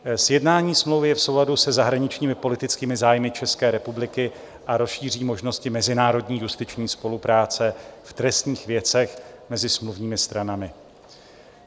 Sjednání smlouvy je v souladu se zahraničními politickými zájmy České republiky a rozšíří možnosti mezinárodní justiční spolupráce v trestních věcech mezi smluvními stranami.